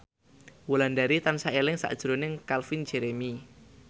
Wulandari tansah eling sakjroning Calvin Jeremy